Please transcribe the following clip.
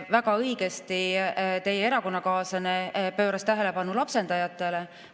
Väga õigesti teie erakonnakaaslane pööras tähelepanu lapsendajatele.